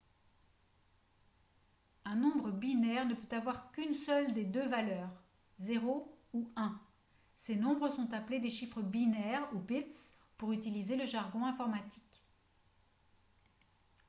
un nombre binaire ne peut avoir qu'une seule de deux valeurs 0 ou 1 ces nombres sont appelés des chiffres binaires ou bits pour utiliser le jargon informatique